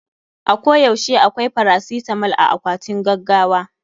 A ko yaushe akwai farasitamol a akwatin gaggawa.